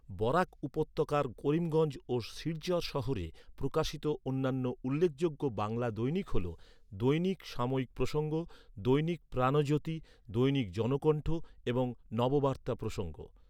বরাক উপত্যকার করিমগঞ্জ ও শিলচর শহরে প্রকাশিত অন্যান্য উল্লেখযোগ্য বাংলা দৈনিক হল, দৈনিক সাময়িক প্রসঙ্গ, দৈনিক প্রাণজ্যোতি, দৈনিক জনকণ্ঠ এবং নববার্তা প্রসঙ্গ।